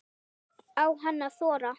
Á hann að þora?